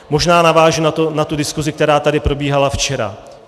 Možná navážu na tu diskusi, která tady probíhala včera.